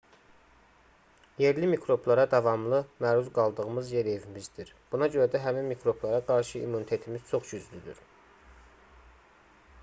yerli mikroblara davamlı məruz qaldığımız yer evimizdir buna görə də həmin mikroblara qarşı immunitetimiz çox güclüdür